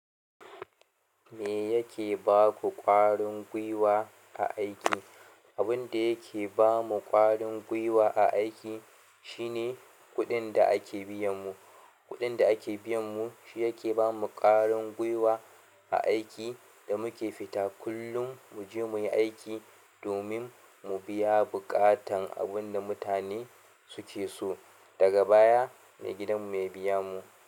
Me yake ba ku ƙwarin gwiwa a aiki? Abin da yake ba mu ƙwarin gwiwa a aiki shine kuɗin da ake biyan mu. Kuɗin da ake biyan mu shi yake ba mu ƙwarin gwiwa a aiki da muke fita kullum mu je muyi aiki domin mu biya buƙatan abun da mutane suke so. Daga baya, maigidanmu ya biya mu.